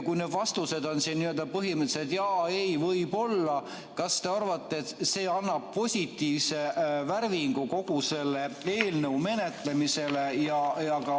Kui vastused on põhimõtteliselt "Jaa", "Ei" ja "Võib-olla", siis kas te tõesti arvate, et see annab positiivse värvingu eelnõu menetlemisele?